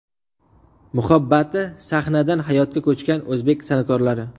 Muhabbati sahnadan hayotga ko‘chgan o‘zbek san’atkorlari .